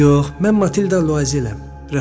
Yox, mən Matilda Luazeləm.